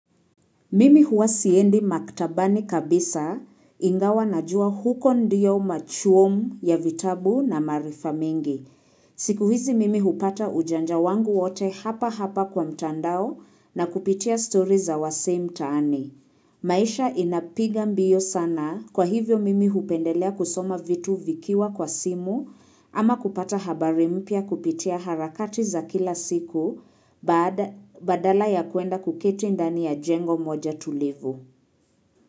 Mimi huwa siendi maktabani kabisa, ingawa najua huko ndio machuomu ya vitabu na maarifa mengi. Siku hizi mimi hupata ujanja wangu wote hapa hapa kwa mtandao na kupitia story za wasee mtaani. Maisha inapiga mbio sana, kwa hivyo mimi hupendelea kusoma vitu vikiwa kwa simu, ama kupata habari mpya kupitia harakati za kila siku baada badala ya kuenda kuketi ndani ya jengo moja tulivu.